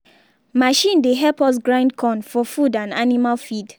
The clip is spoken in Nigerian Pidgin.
machine dey help us grind corn for food and animal feed.